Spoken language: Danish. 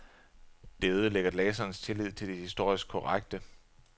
Det ødelægger læserens tillid til det historisk korrekte.